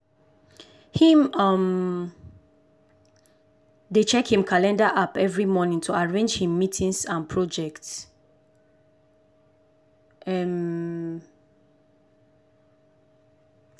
him um dey check him calender app every morning to arrange him meetings and project. um